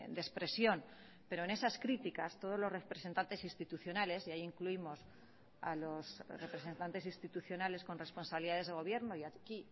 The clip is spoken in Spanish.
de expresión pero en esas críticas todos los representantes institucionales y ahí incluimos a los representantes institucionales con responsabilidades de gobierno y aquí